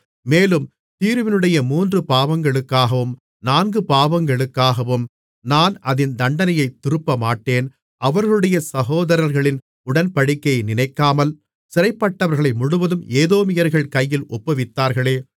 மேலும் தீருவினுடைய மூன்று பாவங்களுக்காகவும் நான்கு பாவங்களுக்காகவும் நான் அதின் தண்டனையைத் திருப்பமாட்டேன் அவர்களுடைய சகோதர்களின் உடன்படிக்கையை நினைக்காமல் சிறைப்பட்டவர்களை முழுவதும் ஏதோமியர்கள் கையில் ஒப்புவித்தார்களே